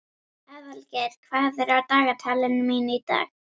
Aðalgeir, hvað er á dagatalinu mínu í dag?